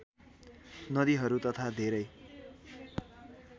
नदीहरू तथा धेरै